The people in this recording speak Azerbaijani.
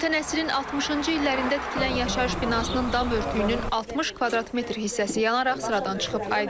Ötən əsrin 60-cı illərində tikilən yaşayış binasının dam örtüyünün 60 kvadrat metr hissəsi yanaraq sıradan çıxıb.